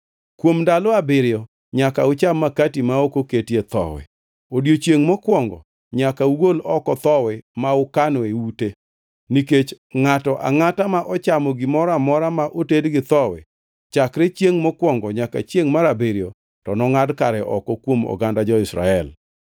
Kuom ndalo abiriyo nyaka ucham makati ma ok oketie thowi. Odiechiengʼ mokwongo nyaka ugol oko thowi ma ukano e ute, nikech ngʼato angʼata ma ochamo gimoro amora ma oted gi thowi chakre chiengʼ mokwongo nyaka chiengʼ mar abiriyo to nongʼad kare oko kuom oganda jo-Israel.